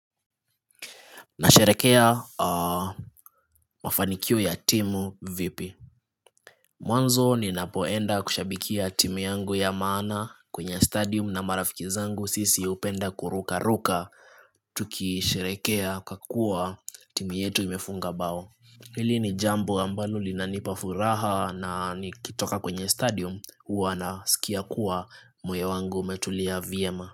Nasherehekea mafanikio ya timu vipi? Mwanzo ninapoenda kushabikia timu yangu ya maana kwenye stadium na marafiki zangu, sisi hupenda kuruka ruka Tukisherehekea kwa kuwa timu yetu imefunga bao. Hili ni jambo ambalo linanipa furaha na nikitoka kwenye stadium huwa nasikia kuwa moyo wangu umetulia vyema.